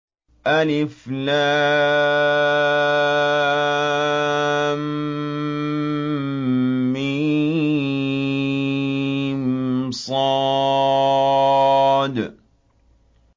المص